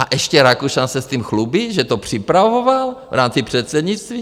A ještě Rakušan se s tím chlubí, že to připravoval v rámci předsednictví?